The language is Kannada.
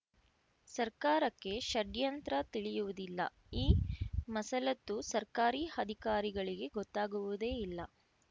ಸರ್ಕಾರಕ್ಕೆ ಷಡ್ಯಂತ್ರ ತಿಳಿಯುವುದಿಲ್ಲ ಈ ಮಸಲತ್ತು ಸರ್ಕಾರಿ ಅಧಿಕಾರಿಗಳಿಗೆ ಗೊತ್ತಾಗುವುದೇ ಇಲ್ಲ